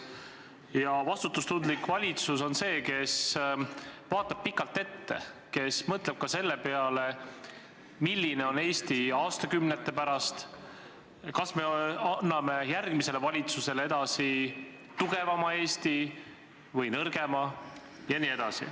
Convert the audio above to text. Ja vastutustundlik valitsus on see, kes vaatab pikalt ette, kes mõtleb ka selle peale, milline on Eesti aastakümnete pärast ja kas ta annab järgmisele valitsusele üle tugevama Eesti või nõrgema.